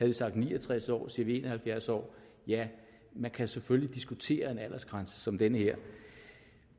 vi sagt ni og tres år siger vi en og halvfjerds år ja man kan selvfølgelig diskutere en aldersgrænse som den her